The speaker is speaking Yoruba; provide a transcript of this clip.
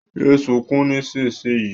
Yé sunkún nísinsìnyí!